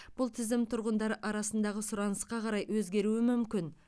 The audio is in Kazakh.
бұл тізім тұрғындар арасындағы сұранысқа қарай өзгеруі мүмкін